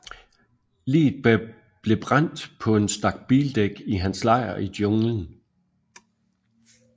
Liget blev brændt på en stak bildæk i hans lejr i junglen